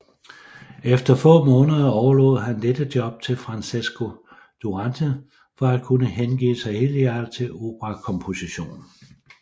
Efter få måneder overlod han dette job til Francesco Durante for at kunne hengive sig helhjertet til operakomposition